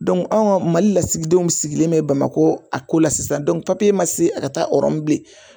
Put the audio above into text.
anw ka mali lasigidenw sigilen bɛ bamako a ko la sisan ma se a ka taa rɔmu bilen